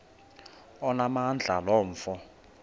onamandla lo mfo